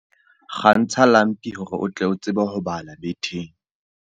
Kgantsha lampi hore o tle o tsebe ho bala betheng.